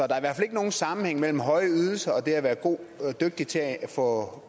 der er derfor ikke nogen sammenhæng mellem høje ydelser og det at være dygtig til at få